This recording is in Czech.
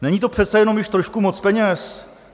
Není to přece jenom již trošku moc peněz?